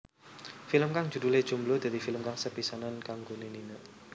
Film kang judhulé Jomblo dadi film kang sepisanan kanggoné Nina